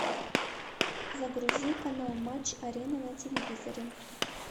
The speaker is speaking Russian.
загрузи канал матч арена на телевизоре